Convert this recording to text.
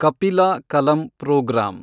Kapila Kalam program